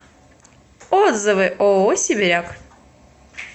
отзывы ооо сибиряк